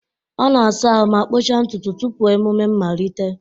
ọ na-asa ahụ ma kpụchaa ntutu tupu emume mmalite